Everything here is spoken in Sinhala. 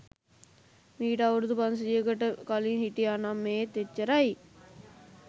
මීට අවුරුදු පන්සීයකට කලින් හිටියා නම් ඒත් එච්චරයි.